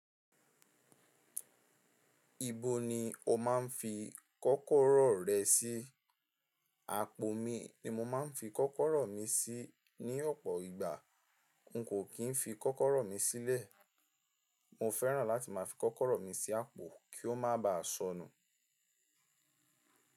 Ibo ni o máa ń fi kọ́kọ́rọ́ rẹ sí? Àpò mi ni mo máa ń fi kọ́kọ́rọ́ mi sí ní ọ̀pọ̀ ìgbà, n kò kì í fi kọ́kọ́rọ́ mi sílẹ̀. Mo fẹ́ràn láti máa fi kọ́kọ́rọ́ mi sí àpò kí ó má baà ṣọnù.